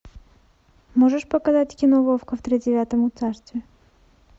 можешь показать кино вовка в тридевятом царстве